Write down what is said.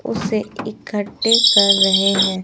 उसे इकट्ठे कर रहे हैं।